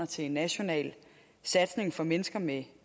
til en national satsning for mennesker med